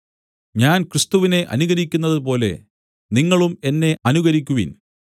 ഞാൻ ക്രിസ്തുവിനെ അനുകരിക്കുന്നതുപോലെ നിങ്ങളും എന്നെ അനുകരിക്കുവിൻ